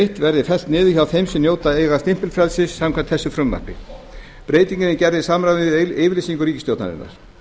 eitt verði fellt niður hjá þeim sem njóta eiga stimpilfrelsis samkvæmt þessu frumvarpi breytingin er gerð til samræmis við yfirlýsingar ríkisstjórnarinnar